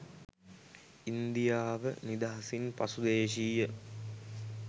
ඉන්දියාවනිදහසින් පසු දේශීය